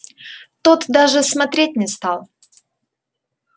тот даже смотреть не стал